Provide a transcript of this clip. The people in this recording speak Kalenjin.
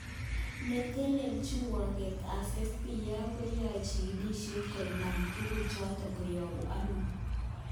Netelelchin wunget tab FBI, koyoe chikilishet konaib tuguk choton koyobu ano